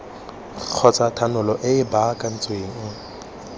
kgotsa thanolo e e baakantsweng